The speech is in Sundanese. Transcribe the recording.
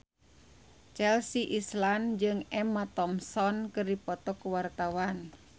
Chelsea Islan jeung Emma Thompson keur dipoto ku wartawan